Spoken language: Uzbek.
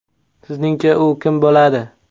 Sizningcha u kim bo‘ladi?